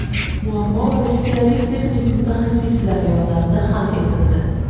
Muammo rossiyalik texnik mutaxassislar yordamida hal etildi.